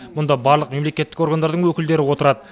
мұнда барлық мемлекеттік органдардың өкілдері отырады